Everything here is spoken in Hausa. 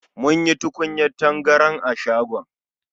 Mun sayi tukunyar tangaran a shagon.